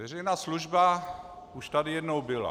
Veřejná služba už tady jednou byla.